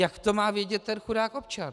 Jak to má vědět ten chudák občan?